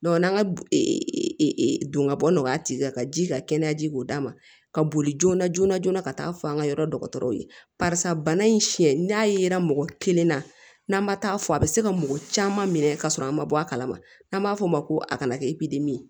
n'an ka don ka bɔ nɔgɔya tɛ ka ji ka kɛnɛya ji k'o d'a ma ka boli joona joona joona ka taa fɔ an ka yɔrɔ dɔgɔtɔrɔw ye barisa bana in siɲɛ n'a yera mɔgɔ kelen na n'an ma taa fɔ a bi se ka mɔgɔ caman minɛ ka sɔrɔ an ma bɔ a kalama n'an b'a f'o ma ko a kana kɛ ye